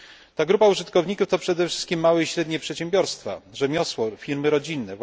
Ta grupa użytkowników to przede wszystkim małe i średnie przedsiębiorstwa, rzemiosło lub firmy rodzinne